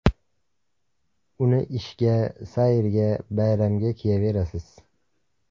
Uni ishga, sayrga, bayramga kiyaverasiz.